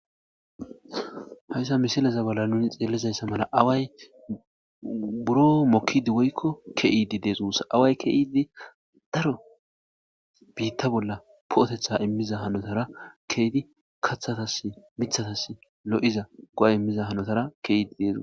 Haysa misileza bollan nuni xelizaysa mala awayi buro mokidi woyko ke'id Desi guusa , awayi ke'id dro biita bolla po'oteth imiza honotara ke'id kathatasi mithatasi, lo'iza go'a imiza hanotara ke'id diza...